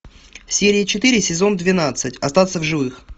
серия четыре сезон двенадцать остаться в живых